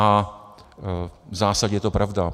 A v zásadě je to pravda.